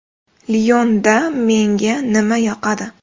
“Lion”da menga nima yoqadi?